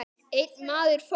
Einn maður fórst.